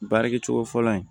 Baarakɛcogo fɔlɔ in